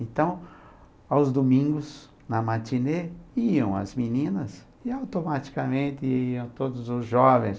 Então, aos domingos, na matinê, iam as meninas e automaticamente iam todos os jovens.